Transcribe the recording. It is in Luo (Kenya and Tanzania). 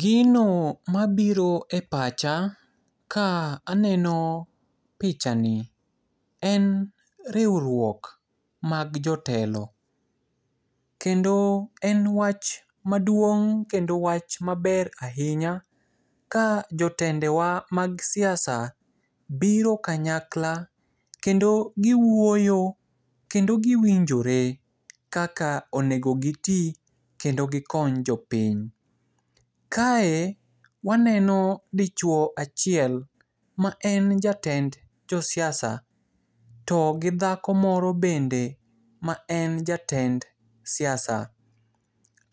Gino mabiro e pacha, ka aneno pichani, en riurwok mag jotelo. Kendo en wach maduong' kendo wach maber ahinya, ka jotendewa mag siasa biro kanyakla, kendo giwuoyo, kendo giwinjore kaka onego giti kendo gikony jopiny. Kae waneno dichuo achiel, ma en jatend josiasa. To, gi dhako moro bende ma en jatend siasa.